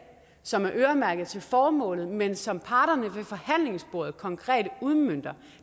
som er øremærket til formålet men som parterne ved forhandlingsbordet konkret udmønter